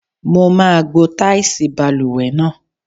Mo máa gbo táìsì balùwẹ̀ náà.